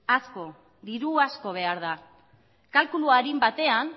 asko diru asko behar da kalkulu arin batean